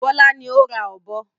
Bọ́lá ní o ra ọ̀bọ.